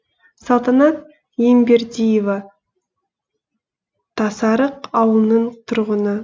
салтанат ембердиева тасарық ауылының тұрғыны